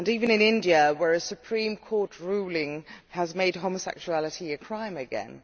In India, a Supreme Court ruling has made homosexuality a crime again.